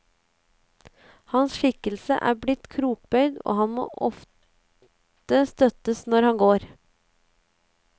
Hans skikkelse er blitt krokbøyd, og han må ofte støttes når han går.